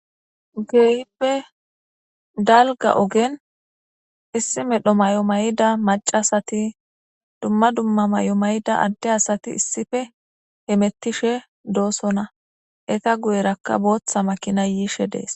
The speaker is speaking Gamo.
Keehippe dalga ogeni issi medho mayo mayida macashat, dumma dumma mayo mayida Ade asati issippe hemetishe dosona, eta guyeraka bootha makinayi yishe desi.